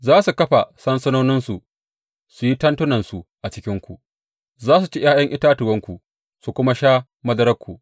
Za su kafa sansanoninsu su yi tentunansu a cikinku; za su ci ’ya’yan itatuwanku su kuma sha madararku.